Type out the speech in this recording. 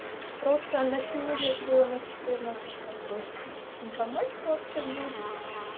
просто она сегодня же была на четырнадцать как бы информатика вот сейчас будет